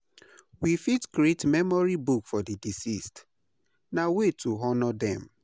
We fit create memory book for di deceased; na way to honor dem.